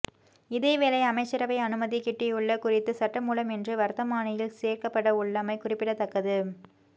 இதேவேளை அமைச்சரவை அனுமதி கிட்டியுள்ள குறித்த சட்டமூலம் இன்று வர்த்தமானியில் சேர்க்கப்படவுள்ளமை குறிப்பிடத்தக்கது